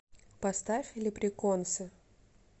поставь леприконсы